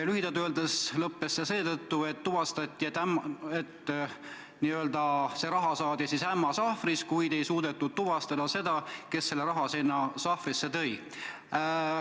Lühidalt öeldes lõppes see seetõttu, et tuvastati, et see raha saadi n-ö ämma sahvrist, kuid ei suudetud tuvastada, kes selle raha sinna sahvrisse tõi.